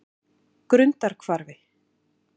Grundarhvarfi